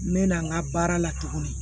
N mɛna n ka baara la tuguni